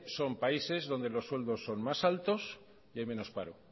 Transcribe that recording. son países donde los sueldos son más altos y hay menos paro